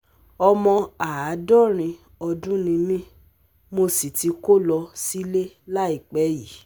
omo Àádọ́rin ọdún ni mí mo sì ti kó lọ sílé láìpẹ́ yìí